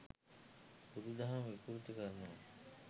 බුදු දහම විකෘති කරනවා